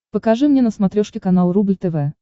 покажи мне на смотрешке канал рубль тв